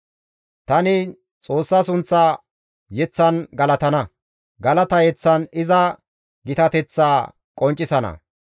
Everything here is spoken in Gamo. Tani Xoossa sunththa yeththan galatana; galata yeththan iza gitateththaa qonccisana.